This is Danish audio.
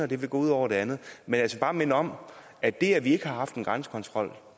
det vil gå ud over det andet men jeg skal bare minde om at det at vi ikke har haft en grænsekontrol